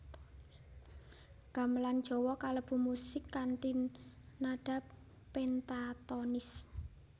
Gamelan Jawa kalebu musik kanthi nada pentatonis